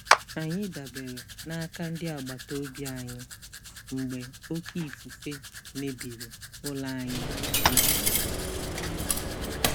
Anyị dabere n'aka ndị agbata obi anyị mgbe oké ifufe mebiri ụlọ anyị na ngere.